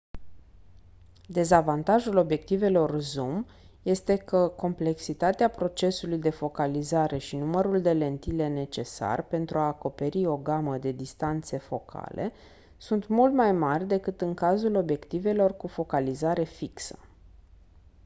dezavantajul obiectivelor zoom este că complexitatea procesului de focalizare și numărul de lentile necesar pentru a acoperi o gamă de distanțe focale sunt mult mai mari decât în cazul obiectivelor cu focalizare fixă